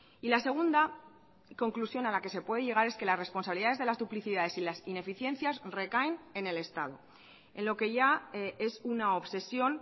y la segunda conclusión a la que se puede llegar es que las responsabilidades de las duplicidades y las ineficiencias recaen en el estado en lo que ya es una obsesión